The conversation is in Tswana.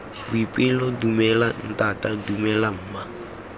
boipelo dumela ntata dumela mma